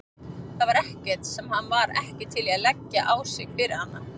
Það var ekkert sem hann var ekki til í að leggja á sig fyrir hana.